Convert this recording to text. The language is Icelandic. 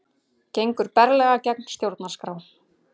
Gengur berlega gegn stjórnarskrá